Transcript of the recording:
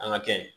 An ka kɛ